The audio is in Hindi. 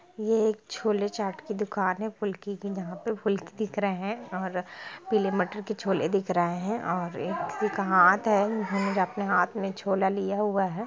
यह एक छोले चाट की दुकान है फुल्के की यहाँ पे फुल्के दिख रहे है और पीले मटर के छोले दिख रहे है और एक व्यक्ति का हाथ है जिन्होंने अपने हाथ में छोले लिया हुआ है।